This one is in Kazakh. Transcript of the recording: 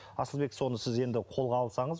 асылбек соны сіз енді қолға алсаңыз